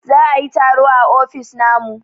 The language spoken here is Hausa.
za a yi taro a ofis namu